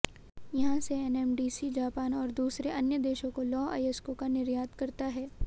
यहां से NMDC Japan और दूसरे अन्य देशों को लौह अयस्कों का निर्यात करता है